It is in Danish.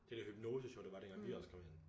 Det der hypnoseshow der var dengang vi også kom ind